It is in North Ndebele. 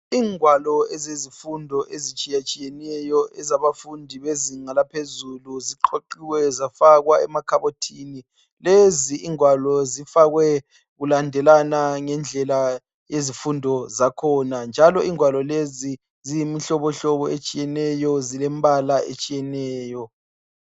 Ingwalo ezezifundo ezitshiyeneyo ezabafundi bezinga laphezulu ziqoquwe zafakwa emakhabothini lezi ingwalo zifakwe kulandelana ngedlela yezifundo zakhona njalo ingwalo lezi ziyimihlobo hlobo etshiyeneyo zilembala etshiyeneyo